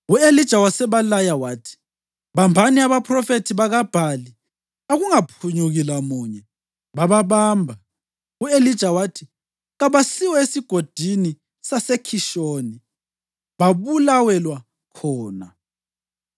U-Elija wasebalaya wathi, “Bambani abaphrofethi bakaBhali. Akungaphunyuki lamunye!” Bababamba, u-Elija wathi kabasiwe eSigodini saseKhishoni, babulawelwa khona.